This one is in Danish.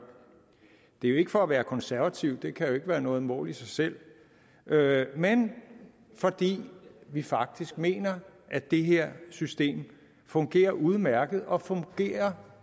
det er jo ikke for at være konservativ det kan jo ikke være noget mål i sig selv men fordi vi faktisk mener at det her system fungerer udmærket og fungerer